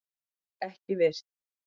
LÖG EKKI VIRT